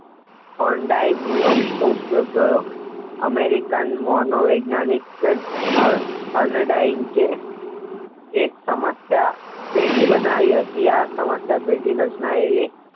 court બિલાઇડ America નું માનો વિજ્ઞાનિક થેરન ડાયટ કે એક સમસ્યા સેટી બનાવી હતી આ સમસ્યા ટેટી વર્ષના એ